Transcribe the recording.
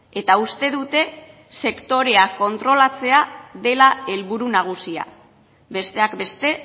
eta uste dute sektorea kontrolatzea dela helburu nagusia besteak beste